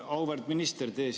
Auväärt minister!